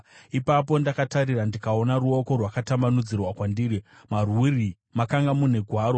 Ipapo ndakatarira, ndikaona ruoko rwakatambanudzirwa kwandiri. Marwuri makanga mune gwaro,